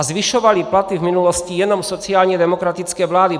A zvyšovaly platy v minulosti jenom sociálně demokratické vlády.